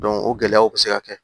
o gɛlɛyaw bɛ se ka kɛ